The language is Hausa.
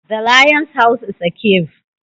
The Lion's house is a cave.